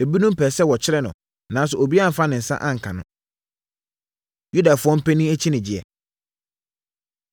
Ebinom pɛɛ sɛ wɔkyere no, nanso obiara amfa ne nsa anka no. Yudafoɔ Mpanin Akyinnyegyeɛ